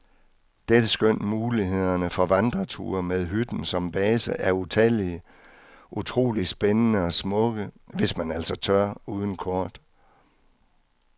Dette skønt mulighederne for vandreture med hytten som base er utallige, utroligt spændende og smukke, hvis man altså tør, uden kort.